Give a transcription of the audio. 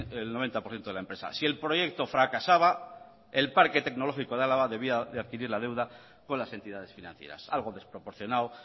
el noventa por ciento de la empresa si el proyecto fracasaba el parque tecnológico de álava debía de adquirir la deuda con las entidades financieras algo desproporcionado